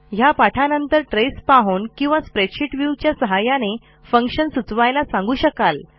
ह्या पाठानंतर traceपाहून किंवा स्प्रेडशीट व्ह्यू च्या सहाय्याने फंक्शन सुचवायला सांगू शकाल